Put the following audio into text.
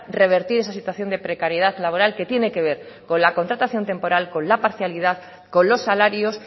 revertir esa situación de precariedad laboral que tiene que ver con la contratación temporal con la parcialidad con los salarios